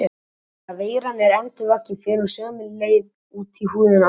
Þegar veiran er endurvakin fer hún sömu leið út í húðina aftur.